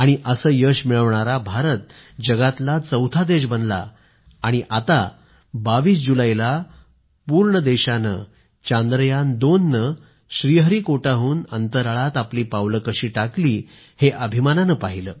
असं यश मिळवणारा भारत जगातला चौथा देश बनला आणि आता 22 जुलैला पूर्ण देशानं चांद्रयान2 नं श्रीहरीकोटाहून अंतराळात आपली पावलं कशी टाकली हे अभिमानानं पाहीलं